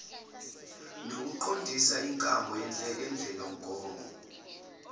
nokuqondisa inkambo yohlelomgomo